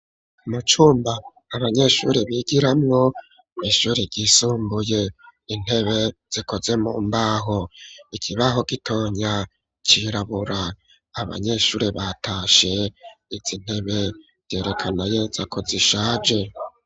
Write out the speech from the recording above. Mu cumba, abanyeshure bigiramwo, kw'ishure ryisumbuye, intebe zikoze, mu mbaho, ikibaho gitonya, cirabura; abanyeshuri batashe, izi ntebe vyerekana neza, zako zishaje.